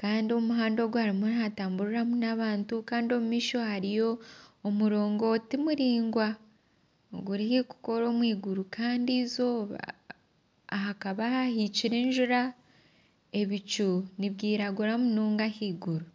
kandi omuhanda ogu hariyo nihatamburiramu n'abantu kandi omu maisho hariyo omurogonti muraingwa oguri haihi kukoora omw'iguru hakaba hahikire enjura ebicu nibyiragura munonga ahaiguru.